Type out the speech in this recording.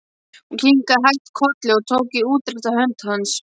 Hún kinkaði hægt kolli og tók í útrétta hönd hans.